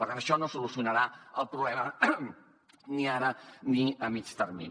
per tant això no solucionarà el problema ni ara ni a mitjà termini